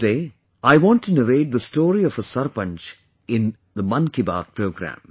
Today, I want to narrate the story of a sarpanch in the 'Mann Ki Baat' programme